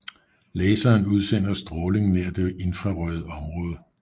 Laseren udsender stråling nær det infrarøde område